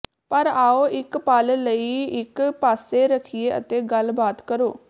ਪਰ ਆਓ ਇਕ ਪਲ ਲਈ ਇਕ ਪਾਸੇ ਰੱਖੀਏ ਅਤੇ ਗੱਲ ਬਾਤ ਕਰੋ